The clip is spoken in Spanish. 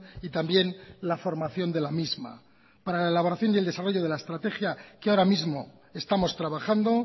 y también la formación de la misma para la elaboración y el desarrollo de la estrategia que ahora mismo estamos trabajando